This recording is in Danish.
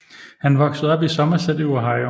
Han voksede op i Somerset i Ohio